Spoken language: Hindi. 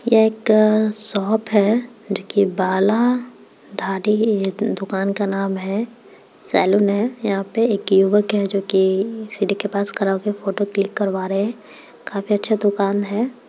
यह एक शॉप है जो की बाला दाड़ी इ दुकान का नाम है सैलून है यहाँ पे एक युवक है जो की सीढ़ी के पास खड़ा होके फोटो क्लिक करवा रहे है काफी अच्छा दुकान है।